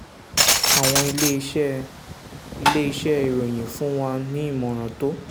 àwọn iléeṣẹ́ iléeṣẹ́ ìròyìn fún wa ní ìmọ̀ràn tó